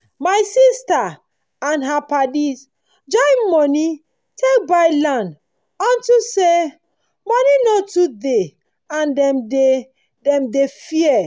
my sista and her padis join moni take buy land unto say moni nor too dey and dem dey dem dey fear